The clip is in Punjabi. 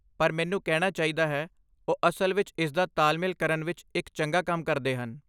ਪਰ ਮੈਨੂੰ ਕਹਿਣਾ ਚਾਹੀਦਾ ਹੈ, ਉਹ ਅਸਲ ਵਿੱਚ ਇਸਦਾ ਤਾਲਮੇਲ ਕਰਨ ਵਿੱਚ ਇੱਕ ਚੰਗਾ ਕੰਮ ਕਰਦੇ ਹਨ।